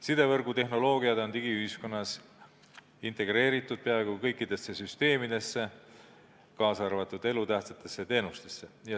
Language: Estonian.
Sidevõrgu tehnoloogiad on digiühiskonnas integreeritud peaaegu kõikidesse süsteemidesse, kaasa arvatud elutähtsatesse teenustesse.